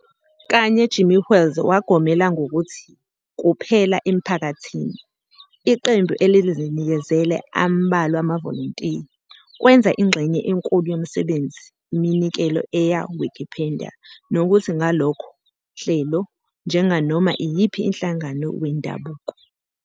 kanye Jimmy Wales wagomela ngokuthi "kuphela emphakathini iqembu elizinikezele ambalwa amavolontiya "kwenza ingxenye enkulu yomsebenzi iminikelo eya Wikipedia nokuthi ngalokho hlelo 'njenganoma iyiphi inhlangano wendabuko".